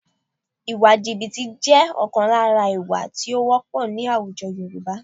Ìwà jìbìtì jẹ́ ọ̀kan lára ìwà tí ó wọ́pọ̀ ní àwùjọ Yorùbá